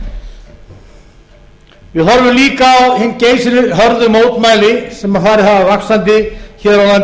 áfram við horfum líka á hin geysihörðu mótmæli sem farið hafa vaxandi hér á landi